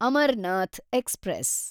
Amarnath express